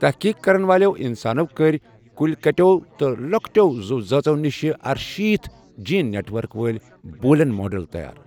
تحقیٖق کَرن والٮ۪و اِنسانو کٔرۍ، کُلۍ کَٹٮ۪و تہٕ لۄکٹٮ۪و زُو ذٲژو نش ارشیٖت جیٖن نٮ۪ٹؤرک وٲلۍ بوٗلِین موڈل تَیار۔